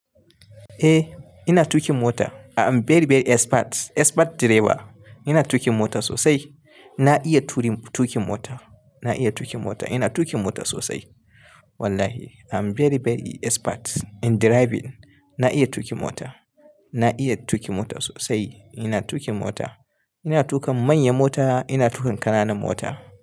Eh ina tuƙin mota. I'm very very expert, expert driver. Ina tuƙin mota sosai. Na iya turin tuƙin mota. Na iya tuƙin mota. Ina tuƙin mota sosai. Wallahi I'm very very expert in driving. Na iya tuƙin mota. Na iya tuƙin mota sosai. Ina tuƙin mota. Ina tuƙa manyan mota, ina tuƙa ƙananan mota.